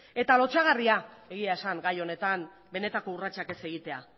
lotsagarria gai honetan benetako urratsak ez egitea